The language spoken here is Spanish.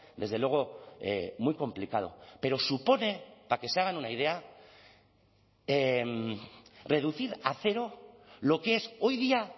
desde luego muy complicado pero supone para que se hagan una idea reducir a cero lo que es hoy día